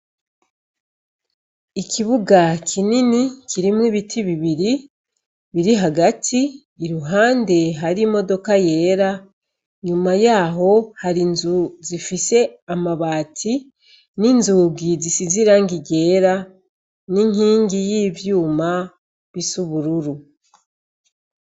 Ikibuga kinini kirimwo ibiti bibiri biri hagati, iruhande hari imodoka yera inyuma yaho hari inzu zifise amabati n'inzugi zisize irangi ryera n'inkingi y'ivyuma bisa ubururu.